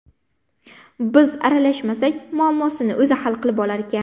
Biz aralashmasak, muammosini o‘zi hal qilib olarkan.